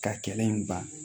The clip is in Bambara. Ka kɛlɛ in ban